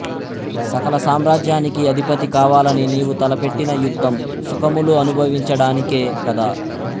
సకల సామ్రాజ్యానికి అధిపతి కావాలని నీవు తలపెట్టిన యుద్ధం సుఖములు అనుభవించడానికే కదా